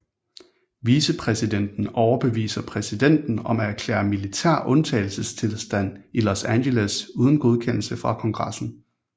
Vicepræsidenten overbeviser præsidenten om at erklære militær undtagelsestilstand i Los Angeles uden godkendelse fra Kongressen